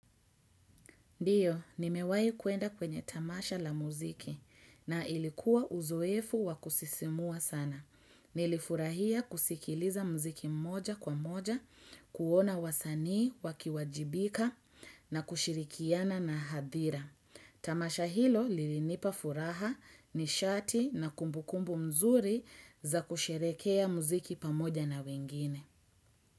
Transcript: Ndio, nimewahi kuenda kwenye tamasha la muziki na ilikuwa uzoefu wa kusisimua sana. Nilifurahia kusikiliza muziki mmoja kwa moja, kuona wasani, wakiwajibika na kushirikiana na hadhira. Tamasha hilo lilinipa furaha ni shati na kumbukumbu mzuri za kusherekea muziki pamoja na wengine.